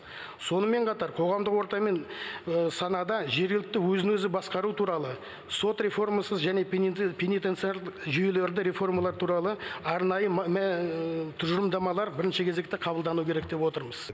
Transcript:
сонымен қатар қоғамдық орта мен санада жергілікті өзін өзі басқару туралы сот реформасы және пенитенциар жүйелерді реформалар туралы арнайы тұжырымдамалар бірінші кезекте қабылдануы керек деп отырмыз